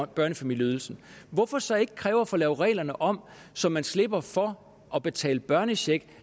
børnefamilieydelsen hvorfor så ikke kræve at få lavet reglerne om så man slipper for at betale børnecheck